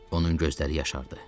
Onun gözləri yaşardı.